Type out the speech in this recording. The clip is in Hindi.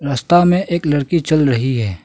रास्ता में एक लड़की चल रही है।